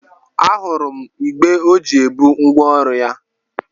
A hụrụ m igbé ọ ji ebu ngwa ọrụ ya.